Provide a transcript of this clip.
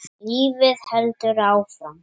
Lífið heldur áfram.